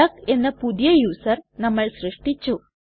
duck എന്ന പുതിയ user നമ്മൾ സൃഷ്ടിച്ചു